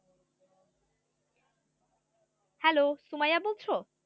hello Sumaiya বলছো?